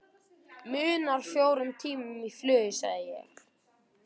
Munar fjórum tímum í flugi sagði ég.